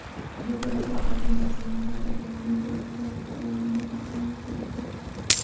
Dubayda davlat xizmatlari endi robotlar tomonidan taqdim etiladi.